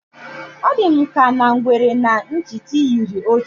Ọ dị m ka na ngwere na nchịkị yiri otu